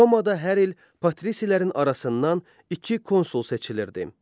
Romada hər il patrisilərin arasından iki konsul seçilirdi.